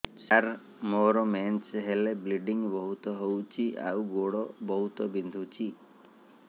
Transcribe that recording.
ସାର ମୋର ମେନ୍ସେସ ହେଲେ ବ୍ଲିଡ଼ିଙ୍ଗ ବହୁତ ହଉଚି ଆଉ ଗୋଡ ବହୁତ ବିନ୍ଧୁଚି